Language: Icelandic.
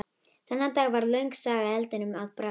Þennan dag varð löng saga eldinum að bráð.